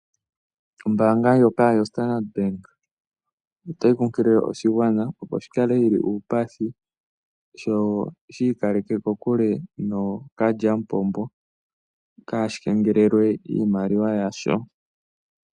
Ombaanga ndjoka yo Standard bank otayi kunkilile oshigwana opo shikale shili uupathi sho shi ikaleke kokule nookalyamupombo kashi kengelelwe iimaliwa yasho.